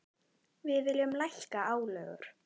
Við viljum lækka álögur.